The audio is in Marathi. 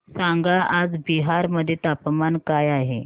सांगा आज बिहार मध्ये तापमान काय आहे